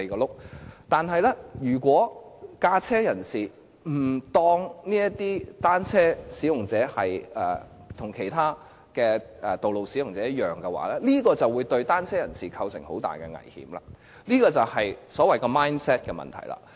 不過，如果駕車人士不把單車使用者與其他道路使用者視為一樣的話，這會對騎單車人士構成很大危險，這便是所謂 mindset 的問題。